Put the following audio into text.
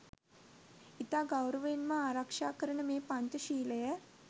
ඉතා ගෞරවයෙන් මා ආරක්ෂා කරන මේ පංච ශීලය